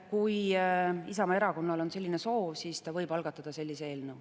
Kui Isamaa Erakonnal on selline soov, siis ta võib algatada sellise eelnõu.